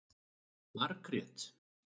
Margrét